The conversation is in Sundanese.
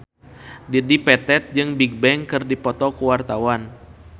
Dedi Petet jeung Bigbang keur dipoto ku wartawan